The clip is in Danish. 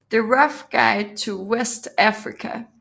The Rough Guide to West Africa